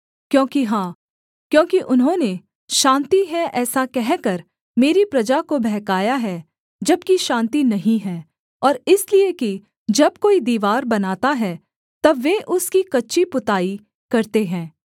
क्योंकि हाँ क्योंकि उन्होंने शान्ति है ऐसा कहकर मेरी प्रजा को बहकाया है जबकि शान्ति नहीं है और इसलिए कि जब कोई दीवार बनाता है तब वे उसकी कच्ची पुताई करते हैं